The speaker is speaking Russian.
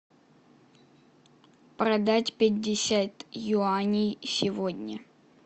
продать пятьдесят юаней сегодня